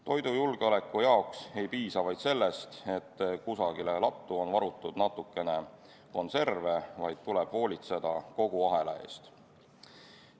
Toidujulgeoleku jaoks ei piisa vaid sellest, et kusagile lattu on varutud natukene konserve, vaid tuleb hoolitseda kogu ahela eest.